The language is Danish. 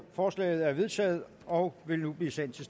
forslaget er vedtaget og vil nu blive sendt til